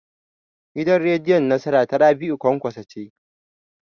Gidan rediyon Nasara ta Rabi'u Kwankwaso ce.